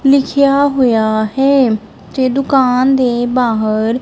ਲਿਖਿਆ ਹੋਇਆ ਹੈ ਤੇ ਦੁਕਾਨ ਦੇ ਬਾਹਰ--